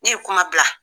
Ne ye kuma bila